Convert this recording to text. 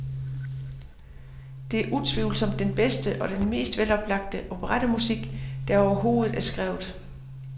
Det er utvivlsomt den bedste og den mest veloplagte operettemusik, der overhovedet er skrevet.